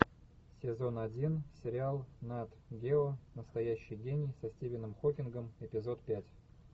сезон один сериал нат гео настоящий гений со стивеном хокингом эпизод пять